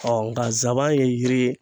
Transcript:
nka zaban ye yiri ye